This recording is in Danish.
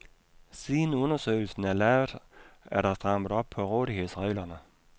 Siden undersøgelsen er lavet, er der strammet op på rådighedsreglerne.